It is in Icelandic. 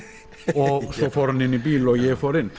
og svo fór hann inn í bíl og ég fór inn